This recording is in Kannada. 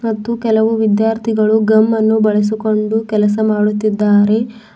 ಮತ್ತು ಕೆಲವು ವಿದ್ಯಾರ್ಥಿಗಳು ಗಮ್ಮನ್ನು ಬಳಸಿಕೊಂಡು ಕೆಲಸ ಮಾಡುತ್ತಿದ್ದಾರೆ.